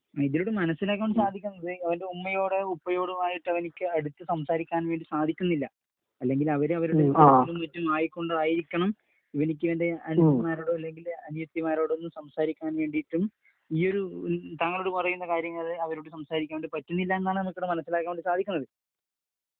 ഇതിലൂടെ മനസ്സിലാക്കാൻ സാധിക്കുന്നത് അവരുടെ ഉമ്മയോടും ഉപ്പയോടും ആയിട്ട് അവനിക്ക് അടുത്തു സംസാരിക്കാൻ വേണ്ടി സാധിക്കുന്നില്ല. അല്ലെങ്കിൽ അവര് അവരുടെ ചുറ്റും ആയതു കൊണ്ടായിരിക്കണം ഇവർക്ക് ഇവരുടെ അനിയന്മാരോട് അല്ലെങ്കിൽ അനിയത്തിമാരോടും സംസാരിക്കാൻ വേണ്ടീട്ടും ഈയൊരു താങ്കളോട് പറയുന്ന കാര്യങ്ങൾ അവരോടു സംസാരിക്കാൻ പറ്റുന്നില്ല എന്നാണ് എനിക്ക് ഇവിടെ മനസ്സിലാക്കാൻ വേണ്ടി സാധിക്കുന്നത്.